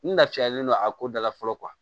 N lafiyalen don a ko dala fɔlɔ